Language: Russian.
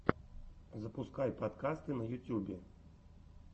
запускай подкасты на ютьюбе